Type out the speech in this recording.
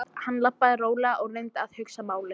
Hann labbaði rólega og reyndi að hugsa málið.